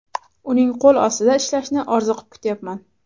Uning qo‘l ostida ishlashni orziqib kutyapman”.